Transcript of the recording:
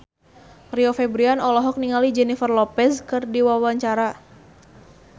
Rio Febrian olohok ningali Jennifer Lopez keur diwawancara